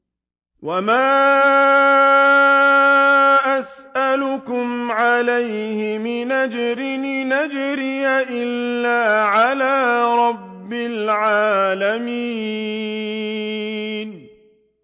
وَمَا أَسْأَلُكُمْ عَلَيْهِ مِنْ أَجْرٍ ۖ إِنْ أَجْرِيَ إِلَّا عَلَىٰ رَبِّ الْعَالَمِينَ